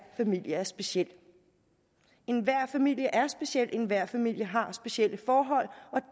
familie er speciel enhver familie er speciel enhver familie har specielle forhold og